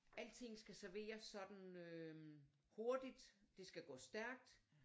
Alting skal serveres sådan øh hurtigt det skal gå stærkt